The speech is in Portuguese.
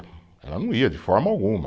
Ela não ia de forma alguma.